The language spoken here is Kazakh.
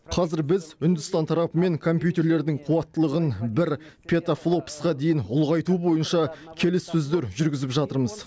қазір біз үндістан тарапымен компьютерлердің қуаттылығын бір петафлопсқа дейін ұлғайту бойынша келіссөздер жүргізіп жатырмыз